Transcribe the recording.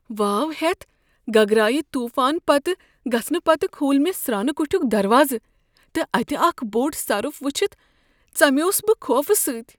واوٕ ہیتھ گگرایہ طوفان پتہٕ گژھنہٕ پتہٕ کھوٗل مےٚ سرٛانہٕ کٹھیُک دروازٕ تہٕ اتہ اکھ بوٚڑ سۄرف وٕچھتھ ژمیوس بہٕ خوفہٕ سۭتۍ۔